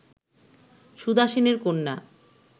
সুধা সেনের কন্যা